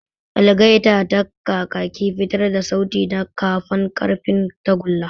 Algaita da kakaki fitar da sauti ta kafan ƙarfen tagulla.